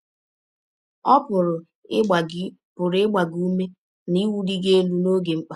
Ọ pụrụ ịgba gị pụrụ ịgba gị ụme na iwụli gị elụ n’ọge mkpa.